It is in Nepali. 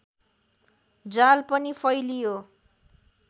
जाल पनि फैलियो